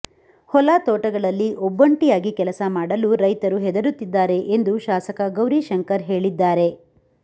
ಹೊಲ ತೋಟಗಳಲ್ಲಿ ಒಬ್ಬೊಂಟಿಯಾಗಿ ಕೆಲಸ ಮಾಡಲು ರೈತರು ಹೆದುರುತ್ತಿದ್ದಾರೆ ಎಂದು ಶಾಸಕ ಗೌರಿಶಂಕರ್ ಹೇಳಿದ್ದಾರೆ